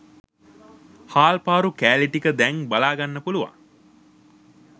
හාල්පාරු කෑලි ටික දැන් බලා ගන්න පුලුවන්